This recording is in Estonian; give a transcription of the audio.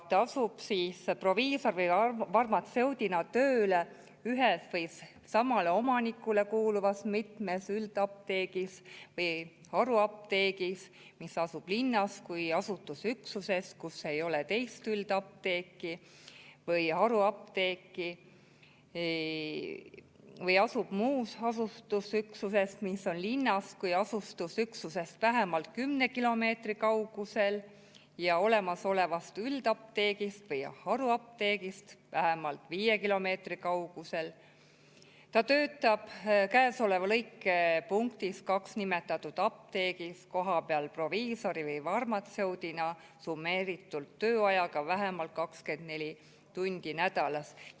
Ta peab asuma proviisori või farmatseudina tööle ühes või samale omanikule kuuluvas mitmes üldapteegis või haruapteegis, mis asub linnas kui asustusüksuses, kus ei ole teist üldapteeki või haruapteeki, või asub muus asustusüksuses, mis on linnast kui asustusüksusest vähemalt kümne kilomeetri kaugusel ja olemasolevast üldapteegist või haruapteegist vähemalt viie kilomeetri kaugusel, ning peab töötama nimetatud apteegis kohapeal proviisori või farmatseudina summeeritud tööajaga vähemalt 24 tundi nädalas.